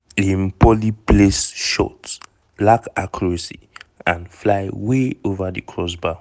im poorly placed shot lack accuracy and fly way ova di crossbar.